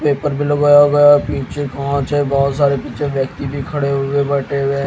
paper भी लगा वगा पीछे पहोंच है बहोत सारे पीछे व्यक्ति भी खड़े हुए बैठे हुए--